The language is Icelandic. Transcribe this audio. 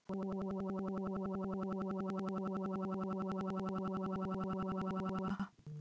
Og Guð mælti til Nóa